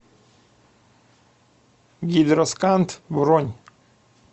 гидросканд бронь